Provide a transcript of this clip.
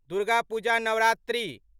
Durga Puja Navratri